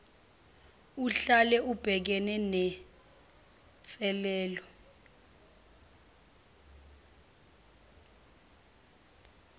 uhlala ubhekene nenselelo